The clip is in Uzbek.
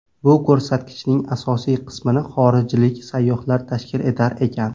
Bu ko‘rsatkichning asosiy qismini xorijlik sayyohlar tashkil etar ekan.